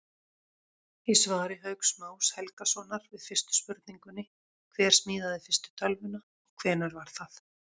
Í svari Hauks Más Helgasonar við spurningunni Hver smíðaði fyrstu tölvuna og hvenær var það?